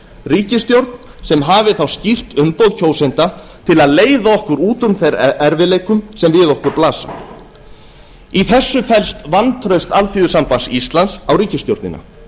ríkisstjórn sem hafi þá skýrt umboð kjósenda til að leiða okkur út úr þeim erfiðleikum sem við okkur blasa í þessu felst vantraust alþýðusambands íslands á ríkisstjórnina